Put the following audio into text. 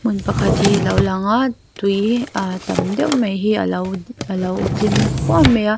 hmun pakhat hi a lo lang a tui a tam deuh mai hi a lo a lo tling puam mai a.